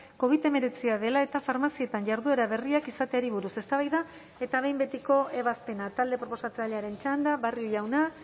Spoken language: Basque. covid hemeretzia dela eta farmazietan jarduera berriak izateari buruz eztabaida eta behin betiko ebazpena talde proposatzailearen txanda barrio jauna